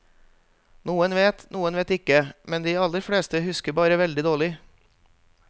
Noen vet, noen vet ikke, men de aller fleste husker bare veldig dårlig.